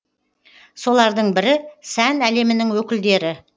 солардың бірі сән әлемінің өкілдері